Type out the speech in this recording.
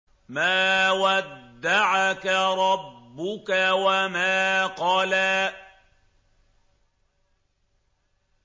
مَا وَدَّعَكَ رَبُّكَ وَمَا قَلَىٰ